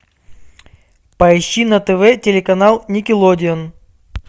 поищи на тв телеканал никелодеон